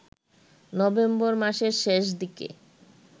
November মাসের শেষ দিকে